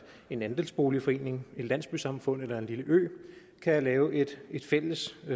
en andelsboligforening et landsbysamfund eller en lille ø kan lave et fælles